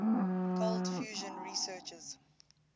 cold fusion researchers